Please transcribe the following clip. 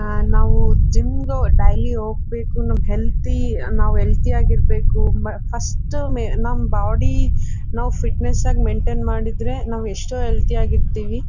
ಆಹ್ಹ್ ನಾವು ಜಿಮ್ ಗೆ ಡೈಲಿ ಹೋಗ್ಬೇಕು ನಾವು ಹೆಲ್ದಿ ನಾವ್ ಹೆಲ್ದಿ ಯಾಗಿ ಇರ್ಬೇಕು ಫಸ್ಟ್ ನಮ ಬಾಡಿ ಫಿಟ್ನೆಸ್ ಆಗಿ ಇದ್ರೆ ಮೇಂಟೈನ್ ಮಾಡಿದ್ರೆ ನಾವು ಎಷ್ಟೋ ಹೆಲ್ದಿ ಆಗಿ ಇರ್ತೀವಿ